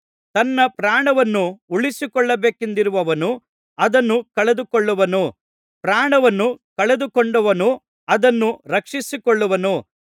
ತನ್ನ ಪ್ರಾಣವನ್ನು ಉಳಿಸಿಕೊಳ್ಳಬೇಕೆಂದಿರುವವನು ಅದನ್ನು ಕಳೆದುಕೊಳ್ಳುವನು ಪ್ರಾಣವನ್ನು ಕಳೆದುಕೊಂಡವನು ಅದನ್ನು ರಕ್ಷಿಸಿಕೊಳ್ಳುವನು